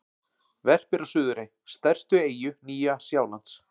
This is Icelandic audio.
Verpir á Suðurey, stærstu eyju Nýja-Sjálands.